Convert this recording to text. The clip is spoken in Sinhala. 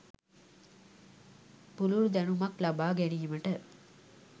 පුළුල් දැනුමක් ලබා ගැනීමට